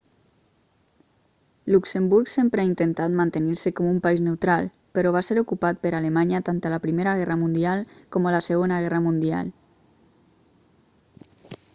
luxemburg sempre ha intentat mantenir-se com un país neutral però va ser ocupat per alemanya tant a la primera guerra mundial com a la segona guerra mundial